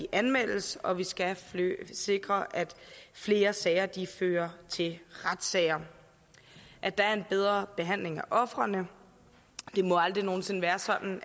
anmeldes og vi skal sikre at flere sager fører til retssager at der er en bedre behandling af ofrene det må aldrig nogen sinde være sådan